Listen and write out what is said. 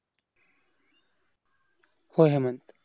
हो हेमंत,